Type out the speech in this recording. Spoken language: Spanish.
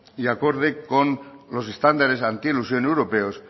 y acorde con los estándares antielusión europeos